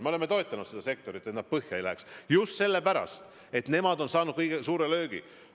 Me oleme toetanud seda sektorit, et nad põhja ei läheks, just sellepärast, et nemad on saanud suure löögi.